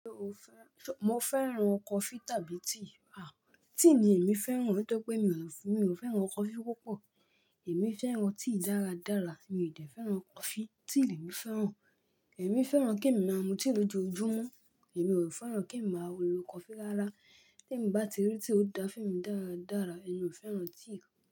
Ṣo fẹ́ so, mo fẹ́ràn coffee tàbí tea? Ah, tea ni èmi fẹ́ràn. Nítorí pé mi ò f, mi ò fẹ́ràn coffee púpọ̀. Èmi fẹ́ràn tea dáradára, mi ò dẹ̀ fẹ́ràn coffee. Tea lèmi fẹ́ràn. Èmi fẹ́ràn kemi máa mú tea lójoojúmọ́. Èmi ò fẹ́ràn kí ń máa lo coffee lára. Tèmi bá ti rí tea ó dá fún mi dáradára, èmi ò fẹ́ràn tea.